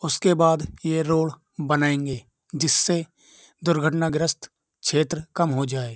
उसके बाद ये रोड बनाएंगे जिससे दुर्घटनाग्रस्त क्षेत्र कम हो जाए।